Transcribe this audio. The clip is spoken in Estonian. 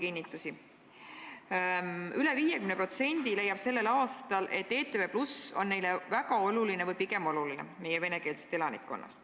Üle 50% meie venekeelsest elanikkonnast leiab sellel aastal, et ETV+ on neile väga oluline või pigem oluline.